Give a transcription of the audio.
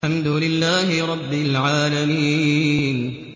الْحَمْدُ لِلَّهِ رَبِّ الْعَالَمِينَ